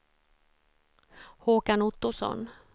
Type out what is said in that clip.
Håkan Ottosson